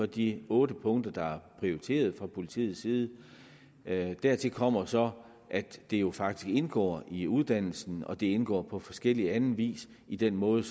de otte punkter der er prioriteret fra politiets side dertil kommer så at det jo faktisk indgår i uddannelsen og at det indgår på forskellig anden vis i den måde